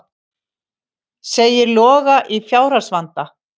Segir Loga í fjárhagsvanda